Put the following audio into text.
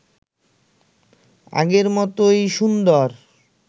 আগের মতই সুন্দর